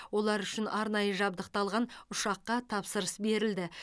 ол үшін арнайы жабдықталған ұшаққа тапсырыс берілді